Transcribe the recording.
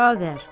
Xavər.